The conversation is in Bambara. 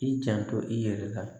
I janto i yɛrɛ la